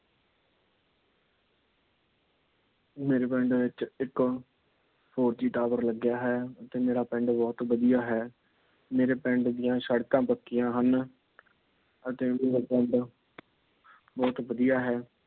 ਮੇਰੇ ਪਿੰਡ ਦੇ ਵਿੱਚ ਇੱਕ four G Tower ਲੱਗਾ ਹੈ। ਅਤੇ ਮੇਰਾ ਪਿੰਡ ਬਹੁਤ ਵਧੀਆ ਹੈ। ਮੇਰੇ ਪਿੰਡ ਦੀਆ ਸੜਕਾਂ ਪੱਕੀਆਂ ਹਨ। ਅਤੇ ਮੇਰਾ ਪਿੰਡ ਬਹੁਤ ਵਧੀਆ ਹੈ।